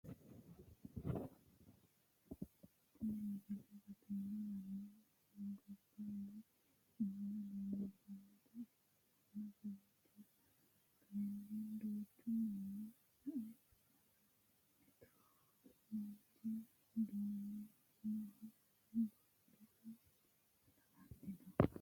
tini misile batinyu manni ganba yee noowa leellishshannota ikitanna kowiicho kayeenni duuchu manni sa"ea haranna mittu manchi du'minoho badhera hige la"anni no